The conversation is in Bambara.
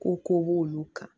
Ko ko b'olu kan